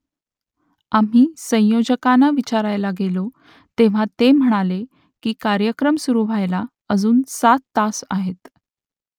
आम्ही संयोजकांना विचारायला गेलो तेव्हा ते म्हणाले की कार्यक्रम सुरू व्हायला अजून सात तास आहेत